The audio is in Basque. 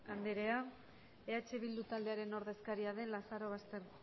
andrea eh bildu taldearen ordezkaria den lazarobaster